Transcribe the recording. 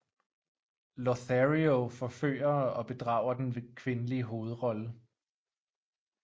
Lothario forfører og bedrager den kvindelige hovedrolle